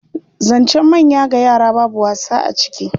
Zancen manya ga yara babu wasa a ciki.